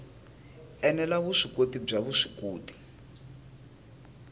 ene la vuswikoti bya vuswikoti